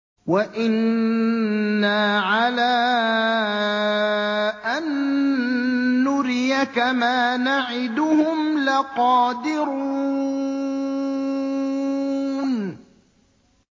وَإِنَّا عَلَىٰ أَن نُّرِيَكَ مَا نَعِدُهُمْ لَقَادِرُونَ